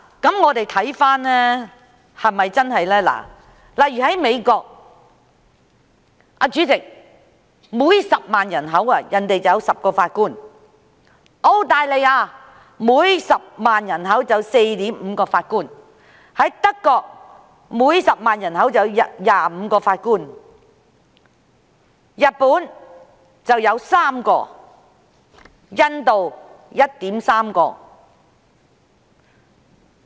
讓我們看看這是否屬實，例如在美國，主席，當地每10萬人口便有10名法官；在澳大利亞，每10萬人口有 4.5 名法官；在德國，每10萬人口有25名法官；日本有3名；印度是 1.3 名。